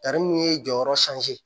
Tari mun ye jɔyɔrɔ sanze